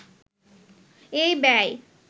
এই ব্যয়